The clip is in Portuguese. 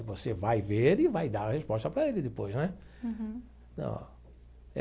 E você vai ver e vai dar a resposta para ele depois, não é? Uhum. Então.